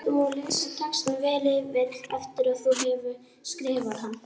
Gott er að þú lesir textann vel yfir eftir að þú hefur skrifað hann.